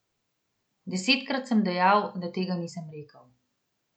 Desetkrat sem dejal, da tega nisem rekel.